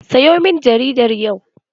Sayo min jaridar yau!